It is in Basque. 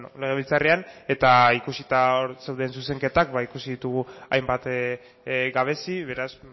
legebiltzarrean eta ikusita hor zeuden zuzenketak ba ikusi ditugu hainbat gabezi beraz